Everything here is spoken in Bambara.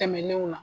Tɛmɛnenw na